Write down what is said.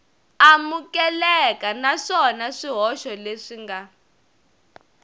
amukeleka naswona swihoxo leswi nga